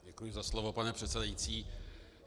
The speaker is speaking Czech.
Děkuji za slovo, pane předsedající.